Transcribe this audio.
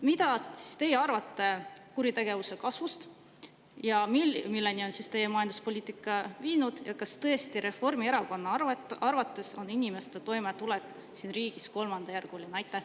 Mida teie arvate kuritegevuse kasvust, milleni on teie majanduspoliitika viinud, ja kas tõesti Reformierakonna arvates on inimeste toimetulek siin riigis kolmandajärguline?